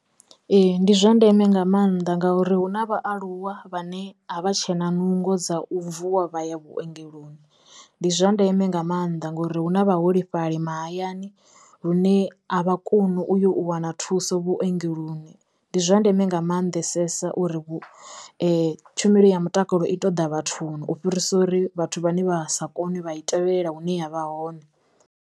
Ee ndi zwa ndeme nga maanḓa ngauri hu na vhaaluwa vhane a vha tshena nungo dza u vuwa vha ya vhuongeloni, ndi zwa ndeme nga maanḓa ngori hu na vhaholefhali mahayani lune a vha koni u yo u wana thuso vhuongeloni, ndi zwa ndeme nga mannḓesesa uri tshumelo ya mutakalo i ṱoḓa vhathuni u fhirisa uri vhathu vhane vha sa kone vha i tevhelela hune ya vha hone.